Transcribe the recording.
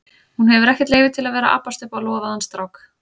Hún hefur ekkert leyfi til að vera að abbast upp á lofaðan strák.